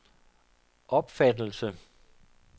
opfattelse